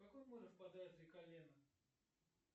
в какое море впадает река лена